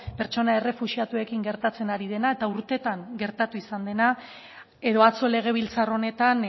pertsona errefuxiatuekin gertatzen ari dena eta urtetan gertatu izan dena edo atzo legebiltzar honetan